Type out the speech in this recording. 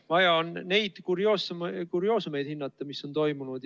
Vaja on hinnata üksnes kurioosumeid, mis on toimunud.